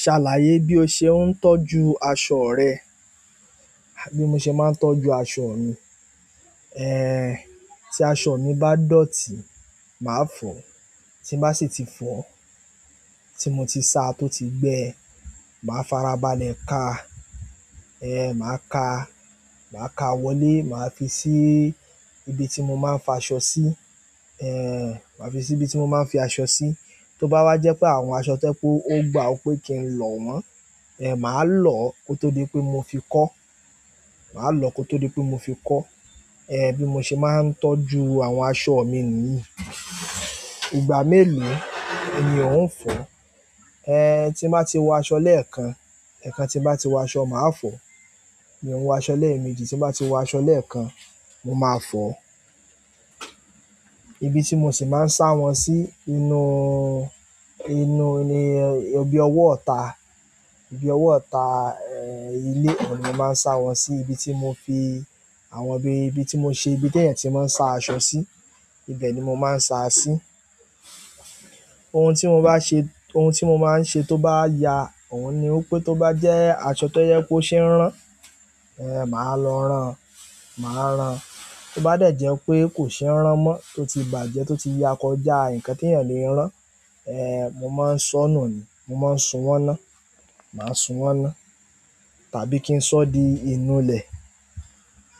Ṣàlàyé bí o ṣe ń tọ́jú aṣọ rẹ. Bí mo ṣe máa ń tọ́jú aṣọ mi, tí aṣọ mi bá dọ̀tí, màá fọ, tí n bá sì ti fọ, tí mo ti sa tó ti gbẹ, màá farabalẹ̀ ka, màá ka, màá ka wọlé, màá fi sí ibi tí mo máa ń fa aṣọ sí, màá fi sí ibi tí mo máa ń fi aṣọ sí. Tí ó bá wá jẹ́ pé àwọn aṣọ to jẹ pe ó gba ò pé kí n lọ wọ́n, màá lọ kó tó di pé mo fi kọ́, màá lọ kó tó di pé mo fi kọ́. Bí mo ṣe máa ń tọ́jú àwọn aṣọ mi nìyí. Ìgbà mélòó ni ò ń fọ̀? Tí bá ti wọ aṣọ lẹ́ẹ̀kan, ẹ̀kan tí bá ti wọ aṣọ, màá fọ̀. Mi ò ń wọ aṣọ lẹ́ẹ̀méjì, tí bá ti wọ aṣọ lẹ́ẹ̀kan, mo máa fọ̀. Ibi tí mo sì máa ń sa wọ́n si, bi ọwọ́ ita, ibi ọwọ́ ita, ilé ohun ni mo máa ń sa wọ́n sí, ibi tí mo fi àwọn bi, ibi tí mo ṣe ibi ti èèyàn tí mò ń sa aṣọ sí, ibẹ̀ ni mo máa ń sa sí. Ohun tí mo máa ń ṣe tó bá ya, ohun ni wipé tó bá jẹ́ aṣọ tó jẹ pe oṣe ràn, màá lọ ran, màá ran. Tó bá dẹ̀ jẹ́ pé kò ṣe ràn mọ́, tó ti bàjẹ́, tó ti ya kọjá nǹkan tí èèyàn lè rán, mo máa ń ṣọnù ni, mo máa ń sun wọ́n iná, màá sun wọ́n iná. Tàbí kí n ṣọ́ di inú lẹ̀.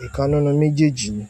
Ìkan nínú méjèèjì ni.